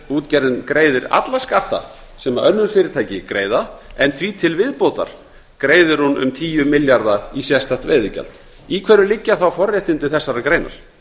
útgerðin greiðir alla skatta sem önnur fyrirtæki greiða en því til viðbótar greiðir hún um tíu milljarða í sérstakt veiðigjald í hverju liggja þá forréttindi þessarar greinar